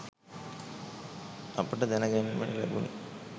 අපට දැන ගැන්මට ලැබුනි